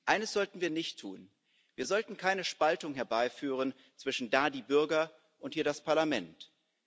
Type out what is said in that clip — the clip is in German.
Eines sollten wir nicht tun Wir sollten keine Spaltung herbeiführen zwischen den Bürgern da und dem Parlament hier.